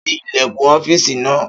Ṣí ilẹ̀kùn ọ́fìsì náà!